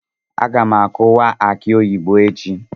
Aga m akuwa aki oyibo echi.